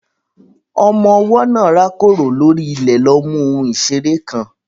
Ọmọ ọwọ́ náà rákòrò lórí ilẹ̀ lọ mú ohun ìṣeré kan.